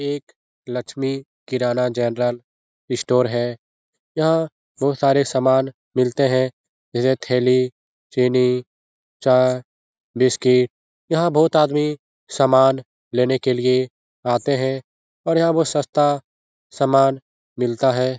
एक लक्ष्मी किराना general store है यहाँ बहोत सारे सामान मिलते है जैसे थैली चीनी चाय बिस्किट यहाँ बहुत आदमी सामान लेने के लिए आते हैं और यहाँ बहोत सस्ता सामान मिलता है।